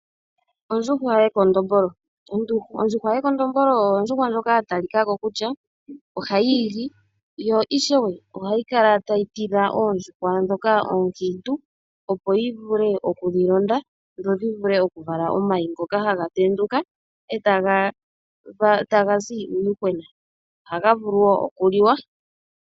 Ondjuhwa yekondombolo oyo ondjuhwa ndjoka ya talika ko kutya ohayi igi yo ishewe ohayi kala tayo tidha oondjuhwa dhoka oonkiintu, opo yi vule okuyi londa dho dhi vule okuvala omayi ngoka haga tenduka e taga zi miipeta. Ohaga vulu wo okuliwa.